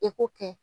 E ko kɛ